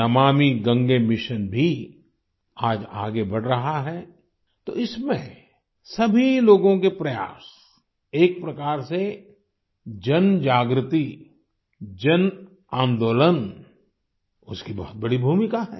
Namami Gange mission भी आज आगे बढ़ रहा है तो इसमें सभी लोगों के प्रयास एक प्रकार से जनजागृति जनआंदोलन उसकी बहुत बड़ी भूमिका है